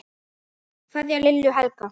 Kveðja, Lilja og Helga.